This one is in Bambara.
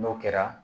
N'o kɛra